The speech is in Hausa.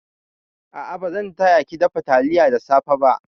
A'a, ba zan taya ki dafa taliyar da safe ba.